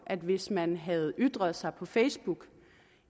at hvis man havde ytret sig på facebook